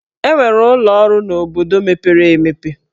E nwere ụlọ ọrụ n'obodo mepere emepe.